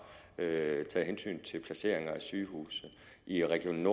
taget hensyn til placeringer af sygehuse i region